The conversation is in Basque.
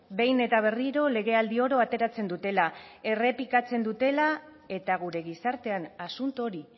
behin eta berriro legealdi oro ateratzen dutela errepikatzen dutela eta gure gizartean asunto hori